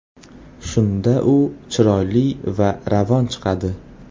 Shunda u chiroyli va ravon chiqadi.